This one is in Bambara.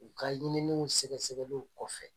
U ka ɲininniw sɛgɛsɛgɛliw kɔfɛ